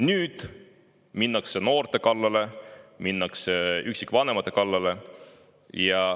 Nüüd minnakse noorte kallale, minnakse üksikvanemate kallale.